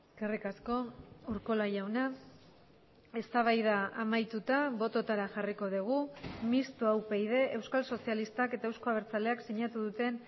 eskerrik asko urkola jauna eztabaida amaituta bototara jarriko dugu mistoa upyd euskal sozialistak eta euzko abertzaleak sinatu duten